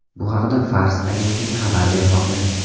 Bu haqda Fars agentligi xabar bermoqda .